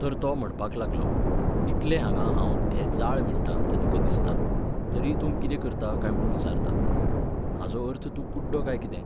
तर तो म्हणपाक लागलो, इतलें हांगा हांव हें जाळ विणटां तें तुकां दिसता, तरीय तूं कितें करता काय म्हुणून विचारता? हाचो अर्थ तूं कुड्डो काय कितें?